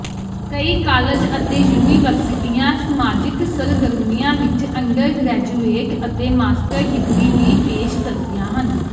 ਕਈ ਕਾਲਜ ਅਤੇ ਯੂਨੀਵਰਸਿਟੀਆਂ ਸਮਾਜਿਕ ਸਰਗਰਮੀਆਂ ਵਿੱਚ ਅੰਡਰਗਰੈਜੂਏਟ ਅਤੇ ਮਾਸਟਰ ਡਿਗਰੀ ਵੀ ਪੇਸ਼ ਕਰਦੀਆਂ ਹਨ